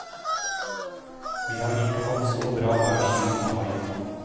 Vi har ikke hatt så bra vær siden mai.